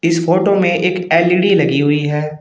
इस फोटो में एक एल_इ_डी लगी हुई है।